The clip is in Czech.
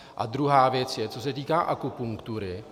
A druhá věc je, co se týká akupunktury.